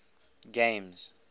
games